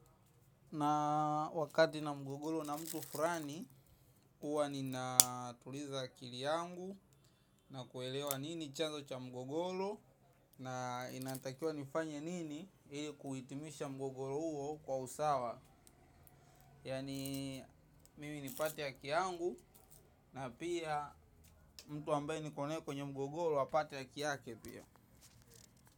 Na wakati nina mgogoro na mtu fulani huwa nina tuliza akili yangu. Na kuelewa nini chazo cha mgogoro. Na inatakiwa nifanye nini. Kuhitimisha mgogoro huwo kwa usawa. Yani mimi nipate haki yangu. Na pia mtu ambaye niko naye kwenye mgogoro apate haki yake pia.